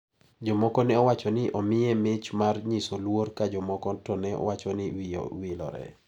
Jomoko ne owacho ni omiye mich mar nyiso luor ka jomoko to ne wacho ni wiye owilore.